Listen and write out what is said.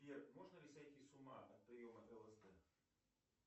сбер можно ли сойти с ума от приема лсд